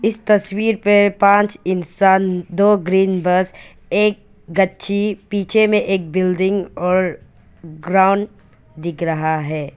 इस तस्वीर पे पांच इंसान दो ग्रीन बस एक गच्छी पीछे में एक बिल्डिंग और ग्राउंड दिख रहा है।